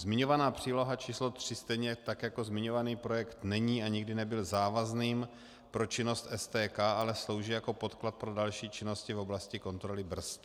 Zmiňovaná příloha číslo 3, stejně tak jako zmiňovaný projekt není a nikdy nebyl závazným pro činnost STK, ale slouží jako podklad pro další činnosti v oblasti kontroly brzd.